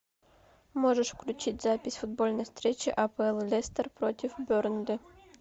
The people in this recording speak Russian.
можешь включить запись футбольной встречи апл лестер против бернли